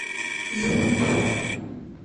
ю